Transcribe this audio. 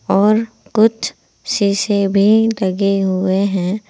और कुछ शीशे भी लगे हुए हैं।